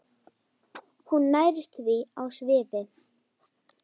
Hún nærist því á svifi.